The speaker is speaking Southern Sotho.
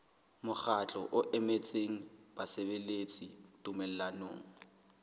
mokgatlo o emetseng basebeletsi tumellanong